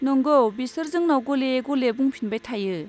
नंगौ, बिसोर जोंनाव गले गले बुंफिनबाय थायो।